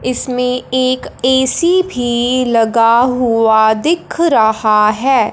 इसमें एक एसी भी लगा हुआ दिख रहा हैं।